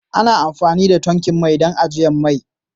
Ana amfani da tankin mai don ajiyar mai.